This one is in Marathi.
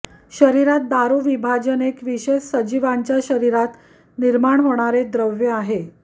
शरीरात दारू विभाजन एक विशेष सजीवांच्या शरीरात निर्मार्ण होणारे द्रव्य आहे